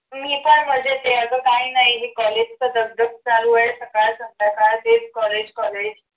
मी फार मजेत आहे आग काही नाही हे college च दगदग चालू आहे सकाळ सकाळ तेच collegecollege